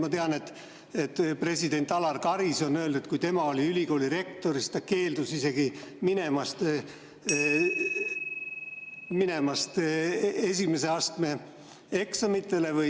Ma tean, et president Alar Karis on öelnud, et kui tema oli ülikooli rektor, siis ta isegi keeldus minemast esimese astme ...